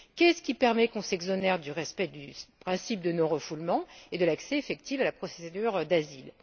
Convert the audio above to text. Qu'est ce qui permet qu'on s'exonère du respect du principe de non refoulement et de l'accès effectif à la procédure d'asile?